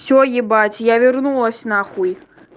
все ебать я вернулась на хуй